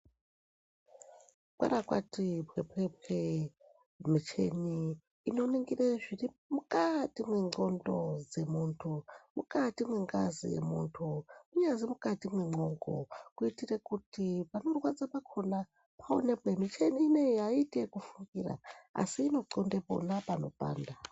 Kwara Kwati kwekwekwe muchini inoningire zviri mukati menxondo dzemuntu mukati mengazi yemuntu kunyazi mukati memwongo kuitire kuti panorwadza Pakhona paonekwe muchini ineyi aiite kufukira asi inonxonde pona panopanda.